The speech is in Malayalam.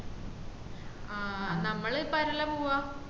ആഹ് നമ്മള് ഇപ്പ ആരല്ല പോവാ